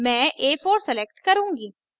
मैं a4 select करुँगी